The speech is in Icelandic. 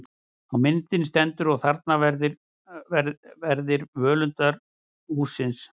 Á myndinni stendur: Og þarna eru verðir völundarhússins.